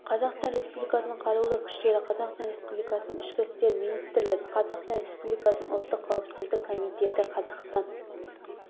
қазақстан республикасының қарулы күштері қазақстан республикасының ішкі істер министрлігі қазақстан республикасының ұлттық қауіпсіздік комитеті қазақстан